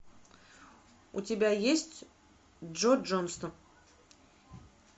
у тебя есть джо джонстон